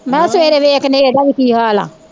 ਮੈਂ ਸਵੇਰੇ ਵੇਖਨੇ ਏਦਾ ਵੀ ਕੀ ਹਾਲ ਐ।